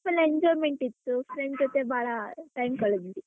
Full enjoyment ಇತ್ತು friends ಜೊತೆ ಭಾಳ time ಕಳಿದ್ವಿ.